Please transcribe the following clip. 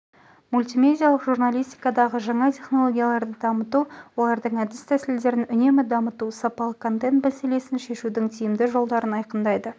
мультимедиалық журналистикадағы жаңа технологияларды дамыту олардың әдіс-тәсілдерін үнемі дамыту сапалы контент мәселесін шешудің тиімді жолдарын айқындайды